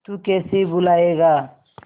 तू कैसे भूलाएगा